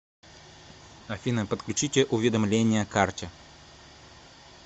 афина подключите уведомления карте